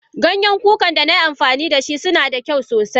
Ganyen kukan danai amfani dasu suna da kyau sosai.